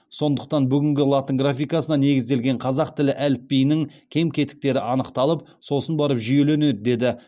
сондықтан бүгінгі латын графикасына негізделген қазақ тілі әліпбиінің кем кетіктері анықталып сосын барып жүйеленеді деді